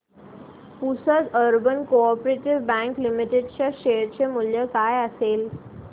Pusad urban co-op bank limited च्या share चे मूल्य काय असेल